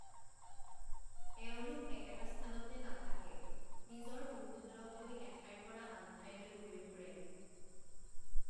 এওঁলোক একেটা স্থানতে নাথাকে, নিজৰ পশুধনক লৈ এঠাইৰ পৰা আনঠাইলৈ ঘূৰি ফুৰে।